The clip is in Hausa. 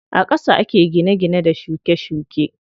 A ƙasa ake gine gine da shuke shuke.